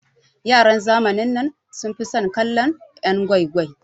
Yaran zamanin nan sun fi son kallon'yan gwai gwai.